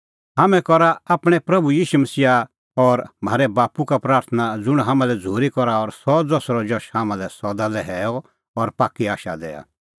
हाम्हैं करा आपणैं प्रभू ईशू मसीहा और म्हारै बाप्पू का प्राथणां ज़ुंण हाम्हां लै झ़ूरी करा और सह ज़सरअ जश हाम्हां लै सदा लै हैअ और पाक्की आशा दैआ